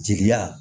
Jigiya